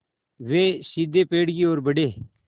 वे सीधे पेड़ की ओर बढ़े